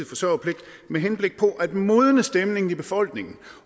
forsørgerpligt med henblik på at modne stemningen i befolkningen